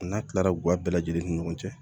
A n'a tilara guwa bɛɛ lajɛlen ni ɲɔgɔn cɛ